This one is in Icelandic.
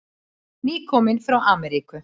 Nýkominn frá Ameríku.